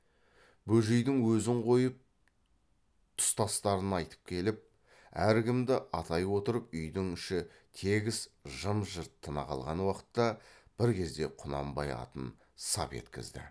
бөжейдің өзін қойып тұстастарын айтып келіп әркімді атай отырып үйдің іші тегіс жым жырт тына қалған уақытта бір кезде құнанбай атын сап еткізді